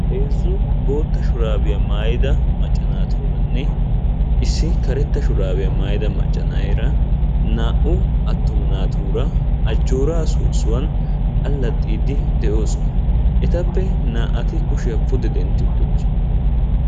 Heezzu bootta shurabiya maayyida macca naatuuranne issi karetta shurabiya maayyida macca na'eera naa"u attuma naatuura ajjoora soossuwan allaxxiiddi de'oosona. Etappe naa"ati kushiya pude dentti uttidoosona.